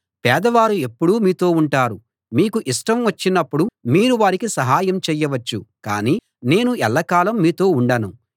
పేదవారు ఎప్పుడూ మీతో ఉంటారు మీకు ఇష్టం వచ్చినప్పుడు మీరు వారికి సహాయం చేయవచ్చు కాని నేను ఎల్లకాలం మీతో ఉండను